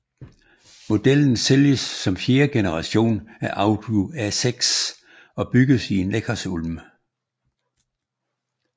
Modellen sælges som fjerde generation af Audi A6 og bygges i Neckarsulm